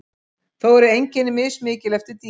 Þó eru einkenni mismikil eftir dýrum.